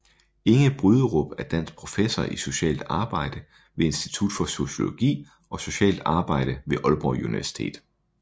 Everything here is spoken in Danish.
Inge Bryderup er dansk professor i socialt arbejde ved Institut for Sociologi og Socialt Arbejde ved Aalborg Universitet